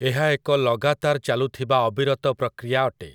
ଏହା ଏକ ଲଗାତାର ଚାଲୁଥିବା ଅବିରତ ପ୍ରକ୍ରିୟା ଅଟେ ।